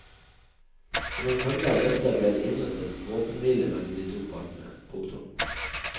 Som en følge av dette ble det inngått en våpenhvile mellom de to partene. punktum